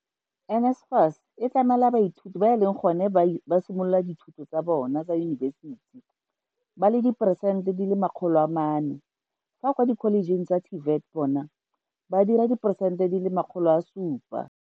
NSFAS e tlamela baithuti ba e leng gone ba simolola dithuto tsa bona tsa yunibesiti ba le diporesente di le 400 fa kwa dikholejeng tsa TVET bona ba dira diporesente di le 700.